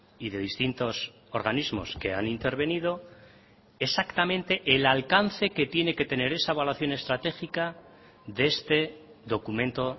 y de distintos organismos que han intervenido exactamente el alcance que tiene que tener esa evaluación estratégica de este documento